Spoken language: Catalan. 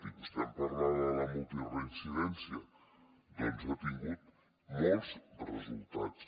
i vostè em parlava de la multireincidència doncs ha tingut molts resultats